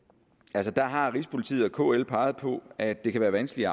altså der har rigspolitiet og kl peget på at det kan være vanskeligt